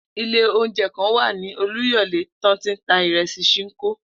Ilé oúnje̩ kan wà ní Olúyò̩lé tó ń ta ìre̩sì S̩ìǹkó